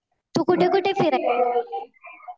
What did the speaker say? तू कुठे कुठे फिरायला गेलेली?